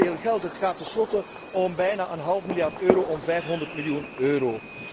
En het gaat om veel geld. Het gaat tenslotte om bijna een half miljard euro, om 500 miljoen euro.